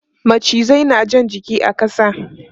Macizai na jan jiki a ƙasa.